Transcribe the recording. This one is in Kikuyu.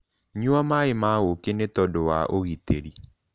Nyua maĩ ma ũkĩ nĩtodũ wa ũgĩtĩrĩ